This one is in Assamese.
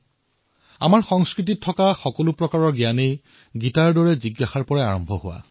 গীতাৰ দৰে আমাৰ সংস্কৃতিত যিমান জ্ঞান আছে সেই সকলোবোৰ জিজ্ঞাসাৰ পৰা আৰম্ভ হৈছে